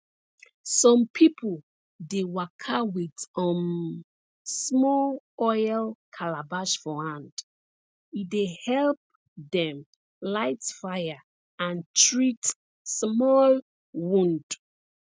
some pipo dey waka with um small oil calabash for hand e dey help dem light fire and treat small wound